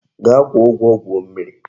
Gaa kwuo ugwo gwuo mmiri.